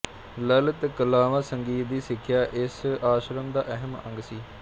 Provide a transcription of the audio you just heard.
ਲਲਿਤ ਕਲਾਵਾਂ ਸੰਗੀਤ ਦੀ ਸਿਖਿਆ ਇਸ ਆਸ਼ਰਮ ਦਾ ਅਹਿਮ ਅੰਗ ਸੀ